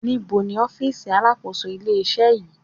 Níbo ni ọ́fìsì alákòóso ilé-iṣẹ́ yìí